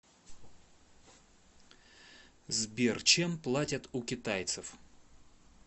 сбер чем платят у китайцев